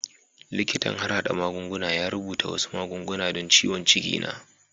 Likitan harhada magunguna ya rubuta wasu magunguna don ciwon ciki na.